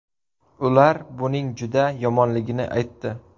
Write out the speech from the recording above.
Ular buning juda yomonligini aytdi.